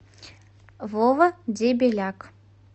вова дебеляк